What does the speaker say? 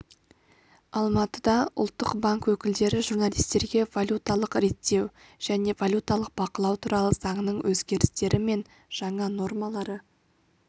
алматыда ұлттық банк өкілдері журналистерге валюталық реттеу және валюталық бақылау туралы заңның өзгерістері мен жаңа нормалары